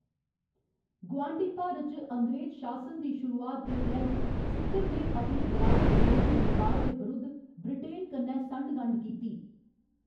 गुआंढी भारत च अंग्रेज शासन दी शुरुआत दे परैंत्त, सिक्किम ने अपने बराबर बरोधी नेपाल दे विरुद्ध ब्रिटेन कन्नै संढ गंढ कीती।